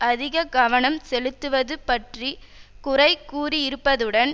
அதிக கவனம் செலுத்துவது பற்றி குறை கூறியிருப்பதுடன்